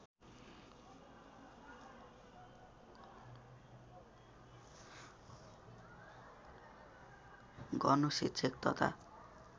गर्नु शिक्षक तथा